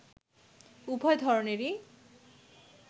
উভয় ধরনেরই